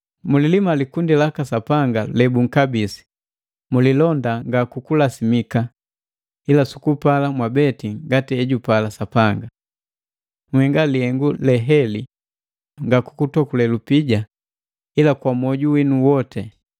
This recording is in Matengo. mulilima li likundi laka Sapanga lebunkabisi, mulilonda nga kukulasimika, ila sukupala mwabeti ngati ejupala Sapanga. Nhenga lihengu leheli nga kukutokule lupija, ila kwa moju winu woti.